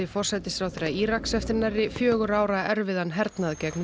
forsætisráðherra Íraks eftir nærri fjögurra ára erfiðan hernað gegn